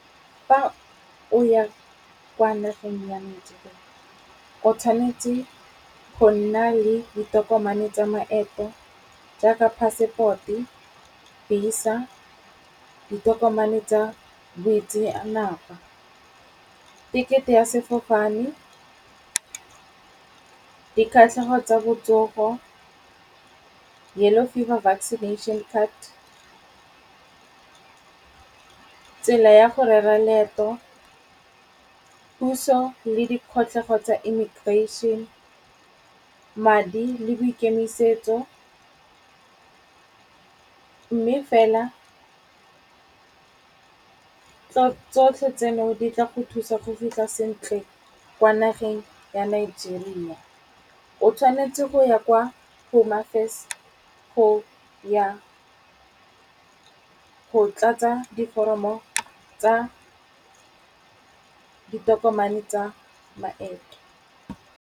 Fa o ya kwa nageng ya Nigeria. O tshwanetse go nna le ditokomane tsa maeto jaaka passport, visa, ditokomane tsa boitseanape, tekete e ya sefofane, di kgatlhego tsa botsogo, yellow fever vaccination card, tsela ya go rera leeto, puso le di kgatlhego tsa immigration, madi le boikemisetso. Mme fela tsotlhe tseno di tla go thusa go fitlha sentle kwa nageng ya Nigeria. O tshwanetse go ya kwa Hone Affairs go ya go tlatsa diforomo tsa ditokomane tsa maeto.